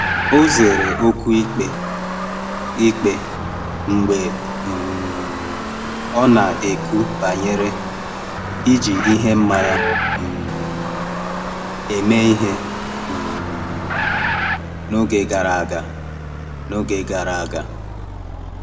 Ọ zere okwu ikpe ikpe mgbe um ọ na-ekwu banyere iji ihe mmanya um eme ihe um n’oge gara aga. n’oge gara aga.